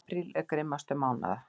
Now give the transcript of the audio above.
Apríl er grimmastur mánaða.